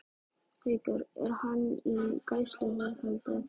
Haukur: Er hann í gæsluvarðhaldi?